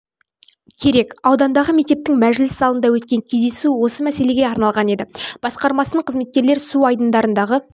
керек аудандағы мектептің мәжіліс залында өткен кездесу осы мәселеге арналған еді басқармасының қызметкерлері су айдындарындағы